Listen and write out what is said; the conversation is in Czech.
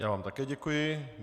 Já vám také děkuji.